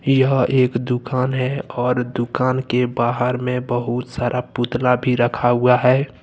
यह एक दुकान है और दुकान के बाहर में बहुत सारा पुतला भी रखा हुआ है।